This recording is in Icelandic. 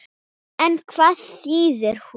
En hvað þýðir hún?